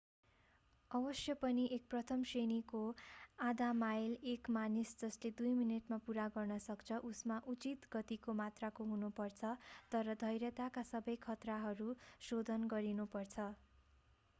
अवश्य पनि एक प्रथम श्रेणीको आधा-माइल एक मानिस जसले दुई मिनेटमा पूरा गर्न सक्छ उसमा उचित गतिको मात्राको हुनु पर्छ तर धैर्यताका सबै खतराहरूमा शोधन गरिनु पर्छ